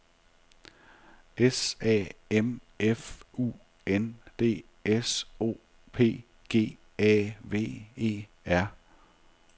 S A M F U N D S O P G A V E R